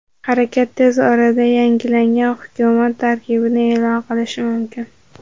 Harakat tez orada yangilangan hukumat tarkibini e’lon qilishi mumkin.